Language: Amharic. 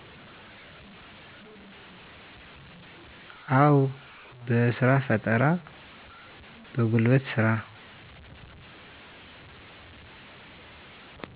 አው በስራፈጠራ በጉልበት ስራ